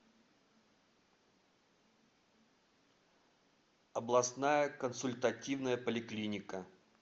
областная консультативная поликлиника